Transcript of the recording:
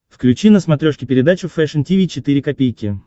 включи на смотрешке передачу фэшн ти ви четыре ка